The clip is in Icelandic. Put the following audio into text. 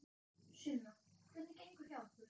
Sunna: Hvernig gengur hjá ykkur?